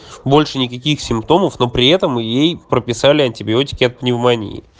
больше никаких симптомов но при этом ей прописали антибиотики от пневмонии